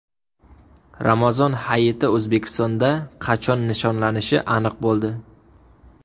Ramazon Hayiti O‘zbekistonda qachon nishonlanishi aniq bo‘ldi.